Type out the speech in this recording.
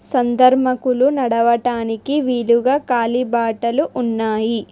సంధర్మకులు నడవటానికి వీలుగా కాలిబాటలు ఉన్నాయి.